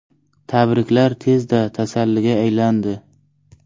Tabriklar tezda tasalliga aylandi.